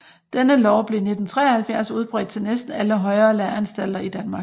Denne lov blev i 1973 udbredt til næsten alle højere læreanstalter i Danmark